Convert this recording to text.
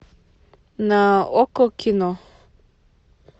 на окко кино